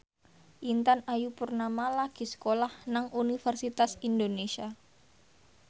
Intan Ayu Purnama lagi sekolah nang Universitas Indonesia